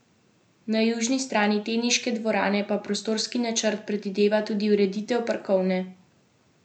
Na južni strani teniške dvorane pa prostorski načrt predvideva tudi ureditev parkovne zelene površine.